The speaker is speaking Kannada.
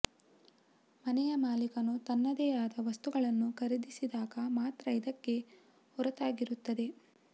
ಮನೆಯ ಮಾಲಿಕನು ತನ್ನದೇ ಆದ ವಸ್ತುಗಳನ್ನು ಖರೀದಿಸಿದಾಗ ಮಾತ್ರ ಇದಕ್ಕೆ ಹೊರತಾಗಿರುತ್ತದೆ